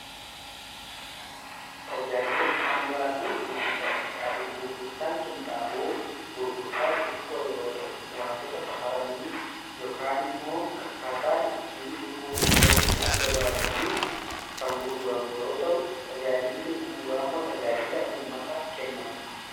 Tajaajila bu'uuraa fi gurgurtaan qinxaaboo: gurgurtaan qinxaaboo gurgurtaa xixiqqoo yeroo ta'u, wantoota safaranii yookaan immoo akkaataa itti gurguruuf ta'utti, adda baasanii kan gurguramu yeroo ta'u, tajaajilli bu'uuraa immoo tajaajila uummataaf kennamudha.